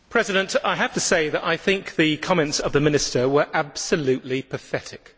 Madam President, I have to say that I think that the comments of the Minister were absolutely pathetic.